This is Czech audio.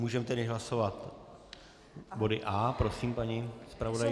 Můžeme tedy hlasovat body A. Prosím, paní zpravodajko.